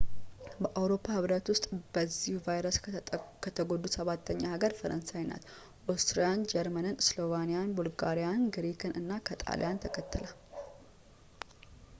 በአውሮፓ ህብረት ውስጥ በዚህ ቫይረስ ከተጎዱት ሰባተኛ ሀገር ፈረንሳይ ናት ኦስትሪያን ጀርመንን ስሎቬንያን ቡልጋሪያን ግሪክን እና ከጣሊያንን ተከትላ